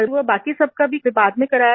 वो बाकी सबका भी बाद में कराया था